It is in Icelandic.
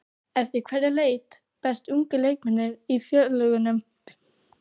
Eftir hverju leita bestu ungu leikmennirnir í félögunum?